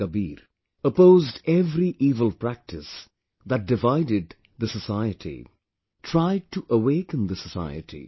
Sant Kabir opposed every evil practice that divided the society; tried to awaken the society